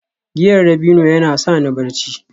giyar dabino yana sa ni barci